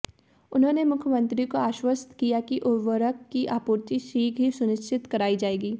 उन्होंने मुख्यमंत्री को आष्वस्त किया कि उवर्रक की आपूर्ति शीघ्र ही सुनिष्चित कराई जाएगी